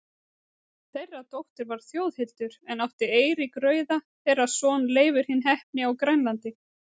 Þeirra dóttir var Þjóðhildur, er átti Eiríkur rauði, þeirra son Leifur hinn heppni á Grænlandi.